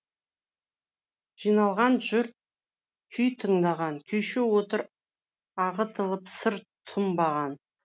жиналған жұрт күй тыңдаған күйші отыр ағытылып сыр тұнбаған